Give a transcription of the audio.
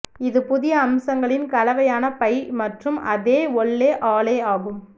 இது புதிய அம்சங்களின் கலவையான பை மற்றும் அதே ஒல்லே ஆலே ஆகும்